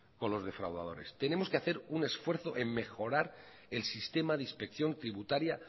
con los defraudadores tenemos que hacer un esfuerzo de mejorar el sistema de inspección tributaria